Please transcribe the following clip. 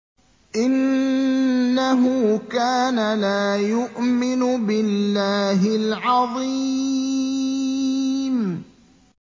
إِنَّهُ كَانَ لَا يُؤْمِنُ بِاللَّهِ الْعَظِيمِ